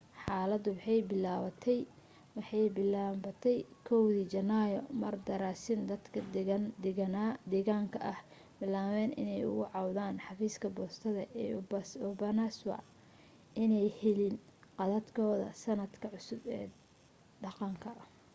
xaaladu waxay bilaabantay 1dii janaayo mar daraasiin dadka deegaanka ahi bilaabeen inay uga cawdaan xafiiska boostada ee obanazawa inaanay helin kaadhadhkoodii sannadka cusbaa ee dhaqanka